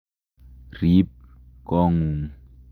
Rip kong'ung'.